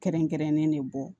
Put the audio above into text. Kɛrɛnkɛrɛnnen ne bɔ